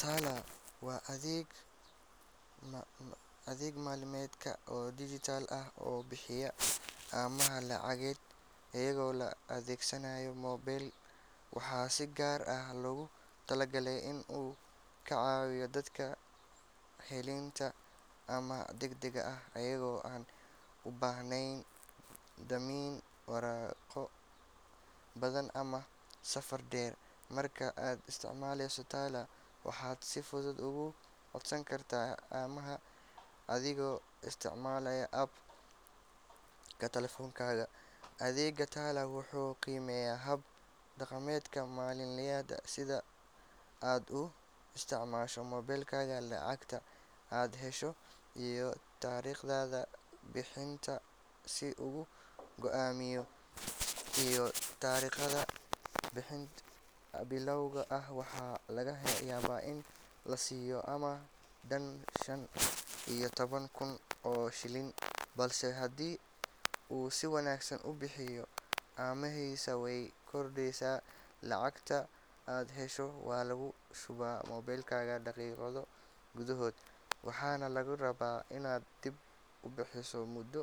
Tala waa adeeg maaliyadeed oo dijitaal ah oo bixiya amaah lacageed iyadoo la adeegsanayo moobil. Waxaa si gaar ah loogu talagalay in uu ka caawiyo dadka helitaanka amaah degdeg ah iyagoo aan u baahnayn dammiin, waraaqo badan ama safar dheer. Marka aad isticmaasho Tala, waxaad si fudud uga codsan kartaa amaah adigoo isticmaalaya app-ka taleefankaaga. Adeegga Tala wuxuu qiimeeyaa hab dhaqankaaga maaliyadeed sida sida aad u isticmaasho moobilkaaga, lacagta aad hesho, iyo taariikhdaada bixinta si uu u go’aamiyo lacagta laguu amaahi karo. Tusaale ahaan, qof bilow ah waxaa laga yaabaa in la siiyo amaah dhan shan iyo toban kun oo shilin, balse haddii uu si wanaagsan u bixiyo, amaahdiisa way kordheysaa. Lacagta aad hesho waxaa lagu shubaa moobilkaaga daqiiqado gudahood, waxaana lagaa rabaa inaad dib u bixiso muddo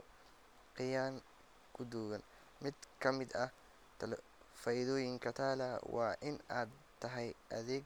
cayiman gudaheed. Mid ka mid ah faa’iidooyinka Tala waa in ay tahay adeeg.